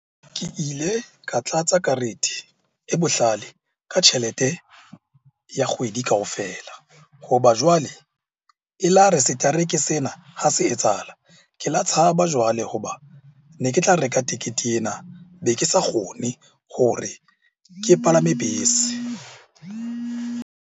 Ke ile ka tlatsa karete e bohlale ka tjhelete ya kgwedi kaofela. Hoba jwale e la re setereke sena ha se etsahala. Ke la tshaba jwale hoba ne ke tla reka tikete ena be ke sa kgone hore ke palame bese.